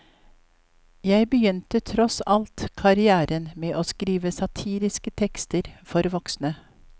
Jeg begynte tross alt karriéren med å skrive satiriske tekster for voksne.